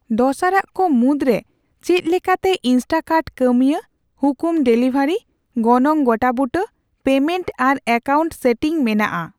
ᱫᱚᱥᱟᱨᱟᱜ ᱠᱚ ᱢᱩᱫᱨᱮ ᱪᱮᱫᱞᱮᱠᱟᱛᱮ ᱤᱱᱥᱴᱟᱠᱟᱨᱴᱮ ᱠᱟᱹᱢᱤᱭᱟ, ᱦᱩᱠᱩᱢ, ᱰᱮᱞᱤᱵᱷᱟᱨᱤ, ᱜᱚᱱᱚᱝ ᱜᱚᱴᱟᱵᱩᱴᱟᱹ, ᱯᱮᱢᱮᱱᱴ ᱟᱨ ᱮᱠᱟᱭᱩᱱᱴ ᱥᱮᱴᱤᱝᱥ ᱢᱮᱱᱟᱜᱼᱟ ᱾